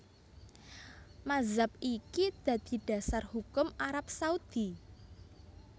Mazhab iki dadi dasar hukum Arab Saudi